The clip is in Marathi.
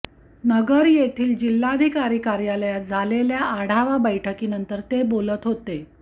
नगर येथील जिल्हाधिकारी कार्यालयात झालेल्या आढावा बैठकीनंतर ते बोलत होते